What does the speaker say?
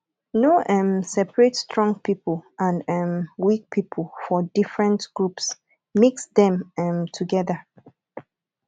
no um separate strong pipo and um weak pipo for different groups mix dem um together